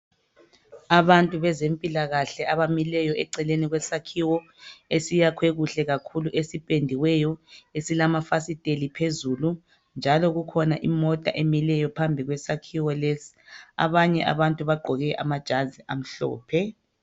Abantu bezempilakahle abamileyo eceleni kwesakhiwo esiyakhwe kuhle kakhulu esipendiweyo esilamafasiteli phezulu njalo kukhona imota emileyo phambi kwesakhiwo lesi. Abanye abantu bagqoke amajazi amhlophe.